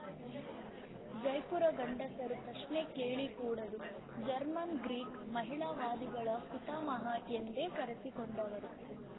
ಜೈಪುರ ಗಂಡಸರು ಪ್ರಶ್ನೆ ಕೇಳಕೂಡದು ಜರ್ಮನ್‌ ಗ್ರೀಕ್ ಮಹಿಳಾವಾದಿಗಳ ಪಿತಾಮಹೆ ಎಂದೇ ಕರೆಸಿಕೊಂಡವರು